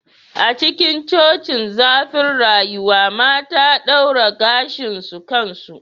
A cikin cocin zurfin rayuwa mata daura gashin su kansu